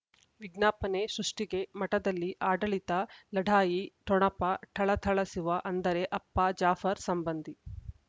ವಿಜ್ಞಾಪನೆ ಸೃಷ್ಟಿಗೆ ಮಠದಲ್ಲಿ ಆಡಳಿತ ಲಢಾಯಿ ಠೊಣಪ ಥಳಥಳಸುವ ಅಂದರೆ ಅಪ್ಪ ಜಾಫರ್ ಸಂಬಂಧಿ